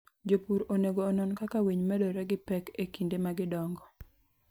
Jopur onego onon kaka winy medore gi pek e kinde ma gidongo.